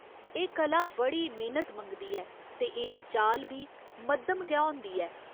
एह् कला बड़ी मेहनत मंगदी ऐ ते एह्दी चाल बी मद्धम गै होंदी ऐ।